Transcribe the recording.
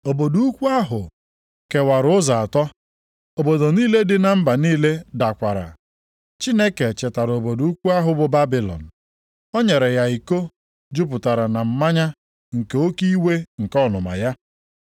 Obodo ukwu ahụ kewara ụzọ atọ. Obodo niile dị na mba niile dakwara. Chineke chetara obodo ukwu ahụ bụ Babilọn. O nyere ya iko jupụtara na mmanya nke nʼoke iwe nke ọnụma ya.